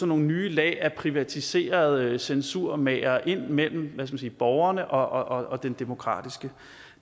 nogle nye lag af privatiserede censurmagere ind mellem borgerne og den demokratiske